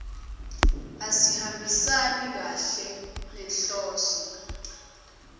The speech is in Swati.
asihambisani kahle nenhloso